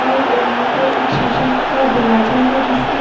और यहां पर एक शीशे का दरवाजा है जिसके --